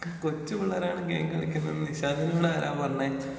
കൊച്ചു പിള്ളേരാണ് ഗെയിം കളിക്കുന്നതെന്ന് നിശാന്തിനോടാരാ പറഞ്ഞേ?